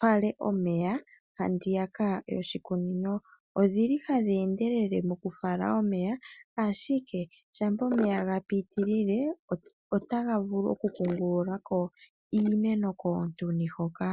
fale omeya handiyaka yoshikunino. Odhili hadhi endelele moku fala omeya. Ashike shampa omeya ga pitilile ota ga vulu oku kungulula ko iimeno koontuni hoka.